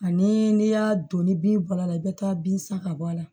Ani n'i y'a don ni bin bɔra i bɛ taa bin san ka bɔ a la